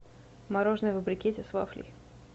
мороженое во брикете с вафлей